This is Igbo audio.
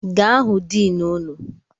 Gaa hụ dini unu!